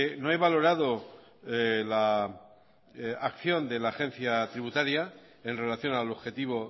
no he valorado la acción de la agencia tributaria en relación al objetivo